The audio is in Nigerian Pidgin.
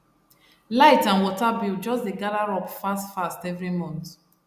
light and water bill just dey gather up fast fast every month